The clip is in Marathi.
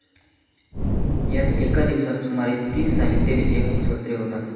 यात एका दिवसात सुमारे तीस साहित्य विषयक सत्रे होतात.